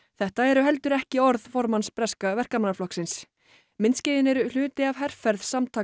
þetta eru heldur ekki orð formanns breska Verkamannaflokksins myndskeiðin eru hluti af herferð samtaka